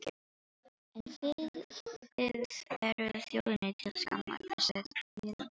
En þið þið eruð þjóðinni til skammar, flissandi pelabörn.